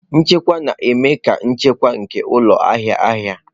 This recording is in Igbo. Nchekwa na-eme ka nchekwa nke ụlọ ahịa ahịa.